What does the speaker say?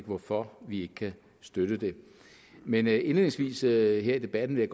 hvorfor vi ikke kan støtte det men indledningsvis her i debatten vil